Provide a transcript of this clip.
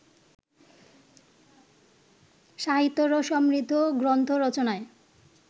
সাহিত্যরস সমৃদ্ধ গ্রন্থ রচনায়